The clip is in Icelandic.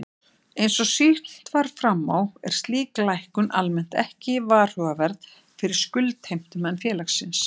Eins og sýnt var fram á er slík lækkun almennt ekki varhugaverð fyrir skuldheimtumenn félagsins.